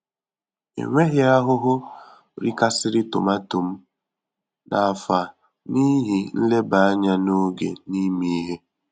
Enweghị ahụhụ rikasịrị tomato m n'afọ a n'ihi nleba anya n'oge na ime ihe.